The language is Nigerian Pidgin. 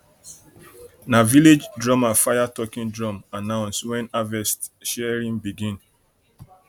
na village drummer fire talking drum announce when harvest sharing begin